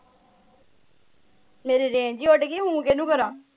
ਮੇਰੀ range ਹੀ ਉਡ ਗਈ ਹੁ ਕਿਨੂੰ ਕਰਾ।